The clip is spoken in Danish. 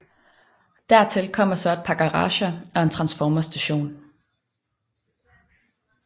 Dertil kommer så et par garager og en transformerstation